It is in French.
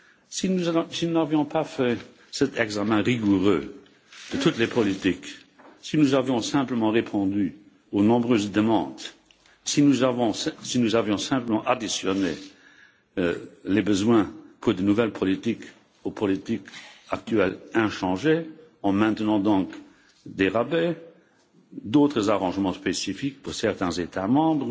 Si nous n'avions pas fait cet examen rigoureux de toutes les politiques, si nous avions simplement répondu aux nombreuses demandes, si nous avions simplement additionné les besoins pour de nouvelles politiques aux politiques actuelles inchangées, en maintenant des rabais, d'autres arrangements spécifiques pour certains États membres,